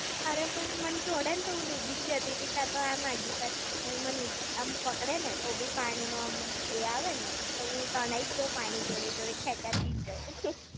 અરે પણ મને છોડે ને તો હું ડૂબી જ જતીતી, કાંતો આમ આઘી-પછી. એ મને આમ પકડે ને તો બી પાણી નો આમ એ આવે ને, તો હું તણાઈ જ જાવ પાણી ની જોડે જોડે ખેંચાતી જવ